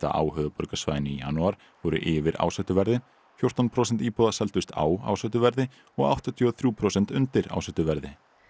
á höfuðborgarsvæðinu í janúar voru yfir ásettu verði fjórtán prósent íbúða seldust á ásettu verði og áttatíu og þrjú prósent undir ásettu verði